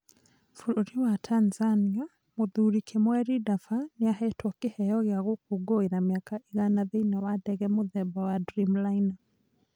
Bũrũri wa Tanzania: Mũthuri Kimweri Dafa nĩahetwo kĩheo gĩa gũkũngĩĩra mĩaka igana thĩinĩ wa ndege mũthemba wa Dreamliner